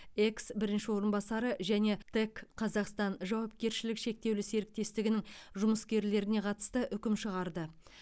экс бірінші орынбасары және тэк қазақстан жауапкершілігі шектеулі серіктестігінің жұмыскерлеріне қатысты үкім шығарды